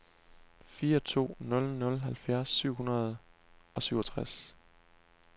fire to nul nul halvfjerds syv hundrede og syvogtres